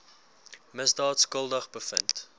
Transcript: misdaad skuldig bevind